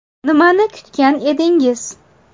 Nimani kutgan edingiz?